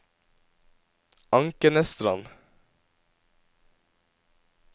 Ankenesstrand